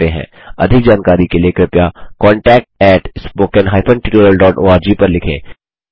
अधिक जानकारी के लिए कृपया contactspoken tutorialorg पर लिखें